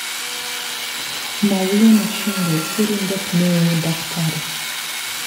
Maria Mashingo. Sirindet neooDkt